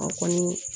An kɔni